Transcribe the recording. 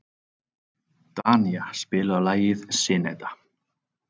Danía, spilaðu lagið „Syneta“.